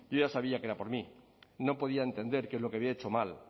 yo ya sabía que era por mí no podía entender qué es lo que había hecho mal